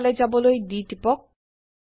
so ফালে যাবলৈ D টিপক